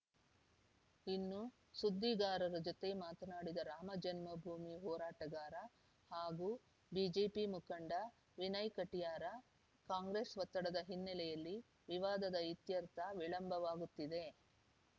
ಇನ್ನು ಸುದ್ದಿಗಾರರ ಜತೆ ಮಾತನಾಡಿದ ರಾಮಜನ್ಮಭೂಮಿ ಹೋರಾಟಗಾರ ಹಾಗು ಬಿಜೆಪಿ ಮುಖಂಡ ವಿನಯ್‌ ಕಟಿಯಾರ್‌ ಕಾಂಗ್ರೆಸ್‌ ಒತ್ತಡದ ಹಿನ್ನೆಲೆಯಲ್ಲಿ ವಿವಾದದ ಇತ್ಯರ್ಥ ವಿಳಂಬವಾಗುತ್ತಿದೆ